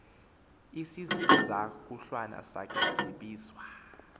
isizakulwana sakhe sibizwa